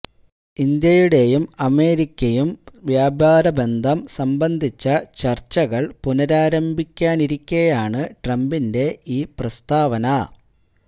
ഇന്ത്യയുടെ അമേരിക്കയും വ്യാപാരബന്ധം സംബന്ധിച്ച ചർച്ചകൾ പുനരാരംഭിക്കാനിരിക്കെയാണ് ട്രംപിന്റെ ഈ പ്രസ്താവന